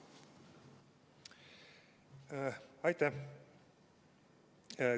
Aitäh!